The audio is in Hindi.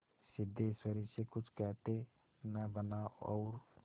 सिद्धेश्वरी से कुछ कहते न बना और